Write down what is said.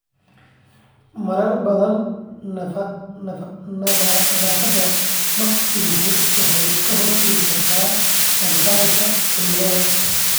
Marar badan, nadaafadda maqsinku waxay ka hortagi kartaa faafitaanka cudurrada.